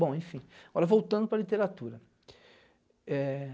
Bom, enfim, olha voltando para a literatura. É